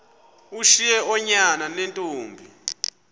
ushiye oonyana neentombi